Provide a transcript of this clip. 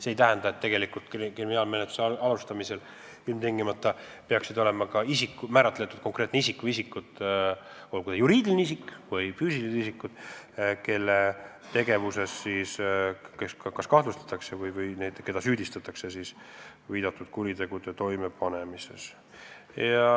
See ei tähenda, et ilmtingimata on ka määratletud konkreetne isik või konkreetsed isikud, olgu juriidilised või füüsilised, keda kas kahtlustatakse või süüdistatakse kuritegude toimepanemises.